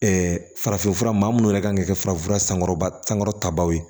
farafinfura maa minnu yɛrɛ kan ka kɛ farafinfura sankɔrɔba sankɔrɔta baw ye